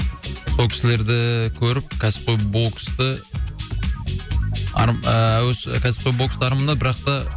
сол кісілерді ііі көріп кәсіпқой боксты ыыы кәсіпқой бокстарымды бірақ та